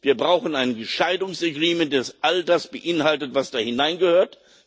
Wir brauchen ein Scheidungs Agreement, das all das beinhaltet, was da hineingehört.